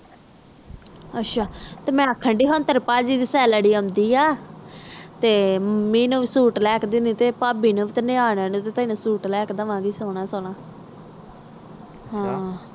ਤੇ ਮੈਂ ਆਖਣ ਦੈ ਆ ਤੇਰੇ ਭਾਜੀ ਦੇ ਸਲਾਰੀ ਆਉਂਦੇ ਆ ਮਮ੍ਮੀ ਦਾਦੇ ਤੇ ਤੈਨੂੰ ਵੀ ਸੁਤ ਲੈ ਕ ਦੇਂਦੈ ਆ ਸੋਹਣਾ ਸੋਹਣਾ